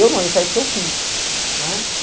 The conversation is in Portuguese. Eu não, eu saí porque eu quis.